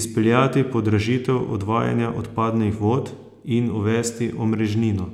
izpeljati podražitev odvajanja odpadnih vod in uvesti omrežnino.